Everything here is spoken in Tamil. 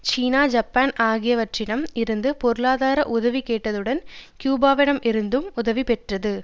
சீனா ஜப்பான் ஆகியவற்றிடம் இருந்து பொருளாதார உதவி கேட்டதுடன் கியூபாவிடம் இருந்தும் உதவி பெற்றது